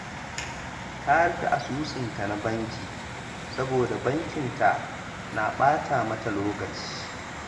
Ta rufe asusunta na banki saboda bankinta na ɓata mata lokaci